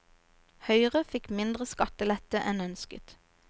Høyre fikk mindre skattelette enn ønsket.